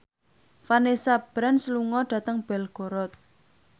Vanessa Branch lunga dhateng Belgorod